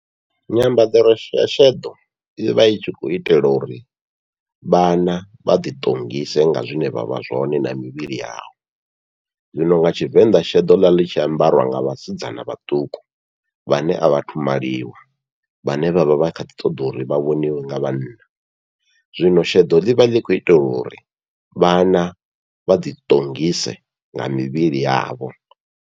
Nyambadzo ya sheḓo ivha i tshi khou itela uri vhana vha ḓi ṱongise nga zwine vha vha zwone na mivhili yavho, zwino nga Tshivenḓa sheḓo ḽa ḽi tshi ambariwa nga vhasidzana vhaṱuku vhane a vhathu maliwa vhane vhavha vha kha ḓi ṱoḓa uri vha vhoniwe nga vhanna, zwino sheḓo ḽivha ḽi kho itelwa uri vhana vha ḓi ṱongise nga mivhili yavho.